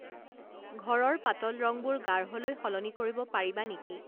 ঘৰৰ পাতল ৰংবোৰ গাঢ়লৈ সলনি কৰিব পাৰিবা নেকি